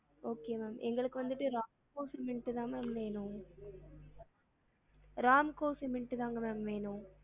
Okay ma'am எங்களுக்கு வந்துட்டு RAMCO cement தா ma'am வேணும் RAMCO cement தாங்க ma'am வேணும்